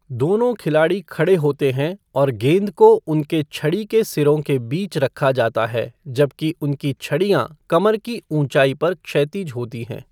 दोनों खिलाड़ी खड़े होते हैं और गेंद को उनके छड़ी के सिरों के बीच रखा जाता है जबकि उनकी छड़ियाँ कमर की ऊंचाई पर क्षैतिज होती हैं।